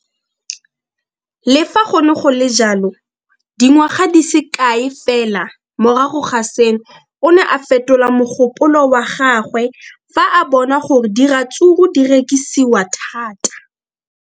Le fa go le jalo, dingwaga di se kae fela morago ga seno, o ne a fetola mogopolo wa gagwe fa a bona gore diratsuru di rekisiwa thata.